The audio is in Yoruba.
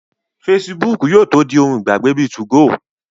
Fesibúùkù yóò tó di ohun ìgbàgbé bíi 2go